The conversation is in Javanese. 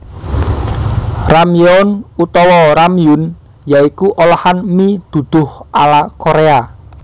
Ramyeon utawa Ramyun ya iku olahan mi duduh ala Korea